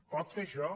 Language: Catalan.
pot fer això